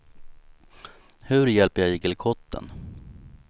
Hur hjälper jag igelkotten?